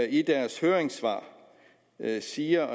i deres høringssvar siger